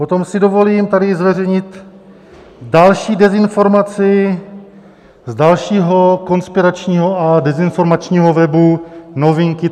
Potom si dovolím tady zveřejnit další dezinformaci z dalšího konspiračního a dezinformačního webu Novinky.cz